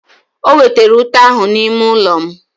O wetara ute ahụ n'ime ụlọ m.